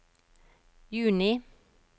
juni